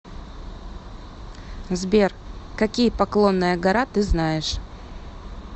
сбер какие поклонная гора ты знаешь